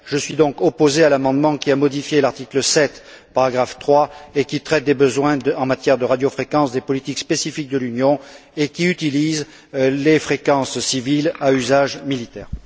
Je suis donc opposé à l'amendement qui modifie l'article 7, paragraphe 3, qui traite des besoins en matière de radiofréquences des politiques spécifiques de l'Union et qui utilise les fréquences civiles à des fins militaires.